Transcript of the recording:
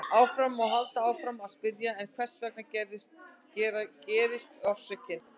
Alltaf má halda áfram að spyrja: En hvers vegna gerðist orsökin?